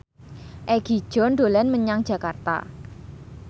Egi John dolan menyang Jakarta